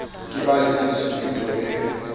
ka ba le tshusumetso e